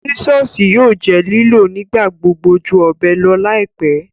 Sisọsi yóò jẹ́ liló nigbagbogbo jú ọbẹ lọ laipẹ.